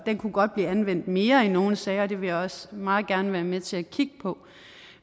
det kunne godt blive anvendt mere i nogle sager og det vil jeg også meget gerne være med til at kigge på